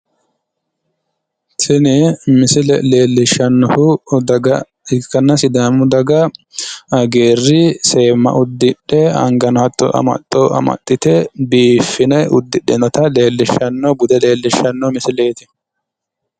tini misile leellishshannohu daga ikkanna sidaamu daga hagiirri seemma uddidhe angano hatto amaxxo amaxxite biiffe udidhinota leellishshanno bude leellishshanno misileeti.